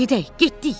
Gedək, getdik.